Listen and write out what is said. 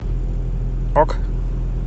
ок